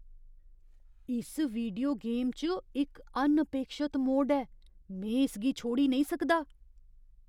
इस video game च इक अनअपेक्षत मोड़ ऐ। में इसगी छोड़ी नेईं सकदा!